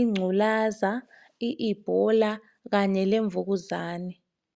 ingculaza, i EBOLA kanye lemvukuzane